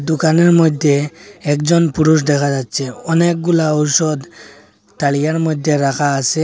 দোকানের মধ্যে একজন পুরুষ দেখা যাচ্ছে অনেকগুলা ঔষধ মধ্যে রাখা আসে।